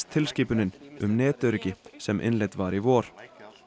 tilskipunin um netöryggi sem innleidd var í vor